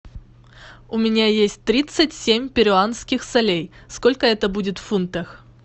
у меня есть тридцать семь перуанских солей сколько это будет в фунтах